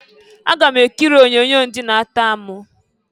Aga m ekiri onyoonyo nke ndị na-atọ amụ.